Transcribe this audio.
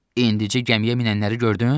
İndicə gəmiyə minənləri gördün?